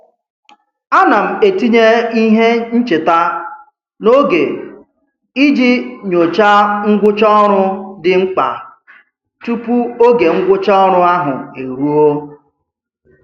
A na m etinye ihe ncheta n'oge iji nyocha ngwụcha ọrụ dị mkpa tụpụ oge ngwụcha ọrụ ahụ e ruo.